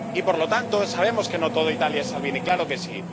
Y, por lo tanto, sabemos que no toda Italia es Salvini, claro que sí.